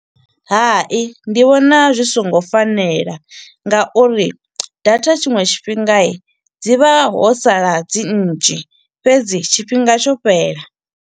Hai, ndi vhona zwi songo fanela nga uri data tshiṅwe tshifhinga, dzi vha ho sala dzi nnzhi. Fhedzi, tshifhinga tsho fhela.